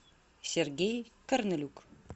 сергей корнелюк